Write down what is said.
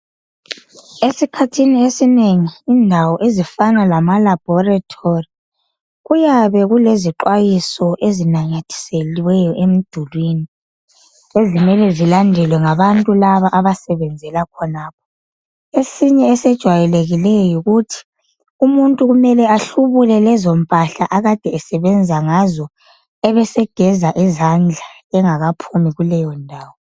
Esikhathini esinengi indawo ezifana lama laboratory kuyabe kulezixwayiso ezinanyathiselweyo emdulini, ezimele zilandelwe ngabantu laba abasebenzela khonapho. Esinye esijwayelekileyo yikuthi umuntu kumele ahlubule lezompahla akade esebenza ngazo ebesegeza izandla engakaphumi kuleyo ndawo.